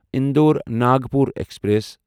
Indore Nagpur express